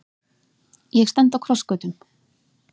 Ég stend á krossgötum.